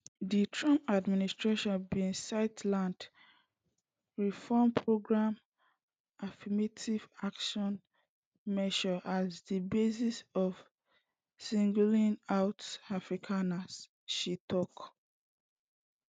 di trump administration bin cite land reform programs affirmative action measures as di basis for singling out afrikaners she tok